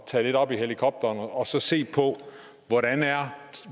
tage lidt op i helikopteren og se på